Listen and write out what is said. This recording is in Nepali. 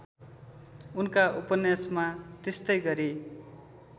उनका उपन्यासमा त्यस्तैगरी